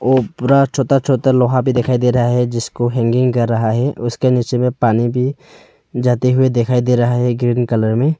ओ पूरा छोटा छोटा लोहा भी दिखाई दे रहा हैं जिसको हैंगिंग कर रहा हैं उसके नीचे मे पानी भी जाते हुए दिखाई दे रहा हैं ग्रीन कलर में।